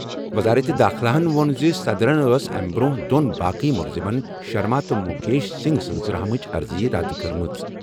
وزارت داخلہَن ووٚن زِ صدرَن ٲس امہِ برٛونٛہہ دۄن باقٕے مُلزِمَن، شرما تہٕ مُکیش سِنٛگھ سٕنٛزِ رحم چہِ عرضی رَد کٔرمٕژ۔